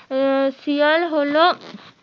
আহ শিয়াল হলো